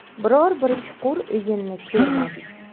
Biror bir chuqur o‘yinni ko‘rmadik.